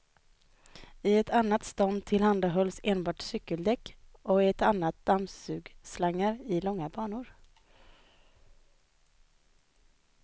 I ett annat stånd tillhandahölls enbart cykeldäck och i ett annat dammsugslangar i långa banor.